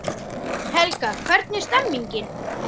Helga, hvernig er stemningin?